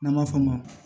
N'an b'a f'o ma